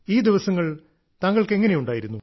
ഈ ദിവസങ്ങൾ താങ്കൾക്ക് എങ്ങനെ ഉണ്ടായിരുന്നു